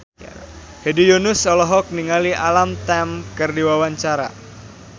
Hedi Yunus olohok ningali Alam Tam keur diwawancara